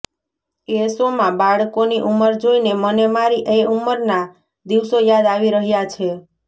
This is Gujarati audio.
એ શોમાં બાળકોની ઉંમર જોઈને મને મારી એ ઉંમરના દિવસો યાદ આવી રહ્યા છે